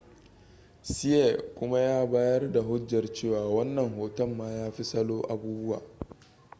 hsieh kuma ya bayar da hujjar cewa wannan hoton ma ya fi salo abubuwa